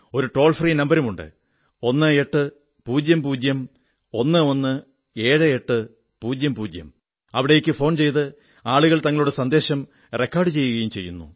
ഒരു toll free നമ്പരുമുണ്ട് 1800117800 അവിടേക്ക് ഫോൺ ചെയ്ത് ആളുകൾ തങ്ങളുടെ സന്ദേശം റെക്കാഡു ചെയ്യുകയും ചെയ്യുന്നു